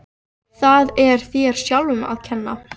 Það er þér sjálfum að kenna.